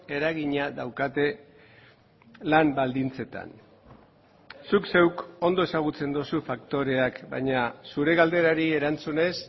eragina daukate lan baldintzetan zuk zeuk ondo ezagutzen duzu faktoreak baina zure galderari erantzunez